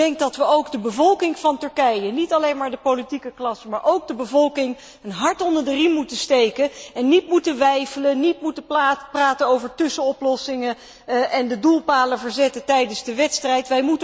Ik denk dat we ook de bevolking van Turkije, niet alleen maar de politieke klasse, maar ook de bevolking een hart onder de riem moeten steken en niet moeten weifelen, niet moeten praten over tussenoplossingen en niet de doelpalen moeten verzetten tijdens de wedstrijd.